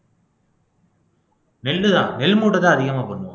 நெல்லுதான் நெல்முட்டைதான் அதிகமா பண்ணுவோம்